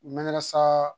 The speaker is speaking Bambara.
N bɛ ɲagamisa